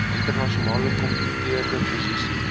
internasionale kompeterende posisie